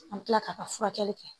An bɛ kila ka furakɛli kɛ